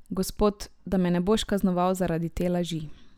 Gospod, da me ne boš kaznoval zaradi te laži.